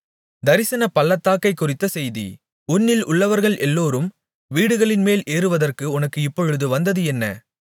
தரிசனப் பள்ளத்தாக்கைக் குறித்த செய்தி உன்னில் உள்ளவர்கள் எல்லோரும் வீடுகளின்மேல் ஏறுவதற்கு உனக்கு இப்பொழுது வந்தது என்ன